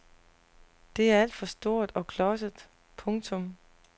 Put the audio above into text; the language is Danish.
Det er alt for stort og klodset. punktum